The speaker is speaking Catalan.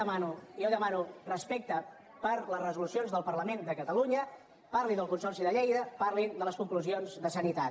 demano respecte per les resolucions del parlament de catalunya parli del consorci de lleida parlin de les conclusions de sanitat